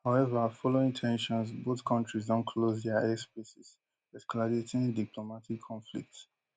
however following ten sions both kontris don close dia airspaces escalating diplomatic conflicts